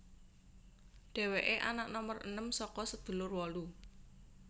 Dheweke anak nomer enem saka sedulur wolu